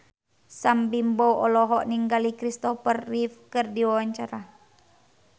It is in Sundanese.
Sam Bimbo olohok ningali Kristopher Reeve keur diwawancara